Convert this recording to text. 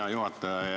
Hea juhataja!